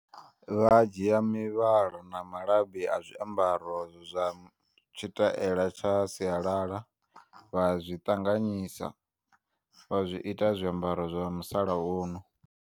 Vhadzhiya mivhala na malabi azwiambaro zwam tshitaela tsha sialala vha zwiṱanganyisa vha zwiita zwiambaro zwa musalauno.